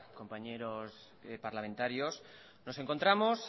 compañeros parlamentarios nos encontramos